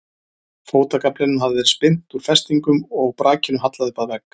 Fótagaflinum hafði verið spyrnt úr festingum og brakinu hallað upp að vegg.